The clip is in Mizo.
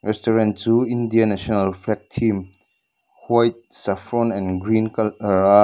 restaurant chu india national flag theme white saffron and green coloura --